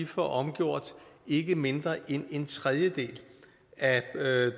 får omgjort ikke mindre end en tredjedel af